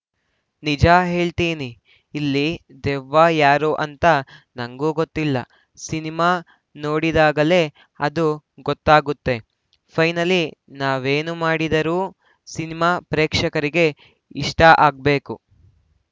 ನಿಜ ಹೇಳ್ತೀನಿ ಇಲ್ಲಿ ದೆವ್ವ ಯಾರು ಅಂತ ನಂಗೂ ಗೊತ್ತಿಲ್ಲ ಸಿನಿಮಾ ನೋಡಿದಾಗಲೇ ಅದು ಗೊತ್ತಾಗುತ್ತೆ ಫೈನಲಿ ನಾವೇನೇ ಮಾಡಿದರೂ ಸಿನಿಮಾ ಪ್ರೇಕ್ಷಕರಿಗೆ ಇಷ್ಟಆಗ್ಬೇಕು